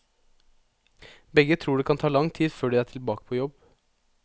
Begge tror det kan ta lang tid før de er tilbake på jobb.